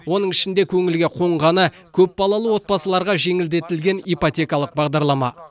оның ішінде көңілге қонғаны көпбалалы отбасыларға жеңілдетілген ипотекалық бағдарлама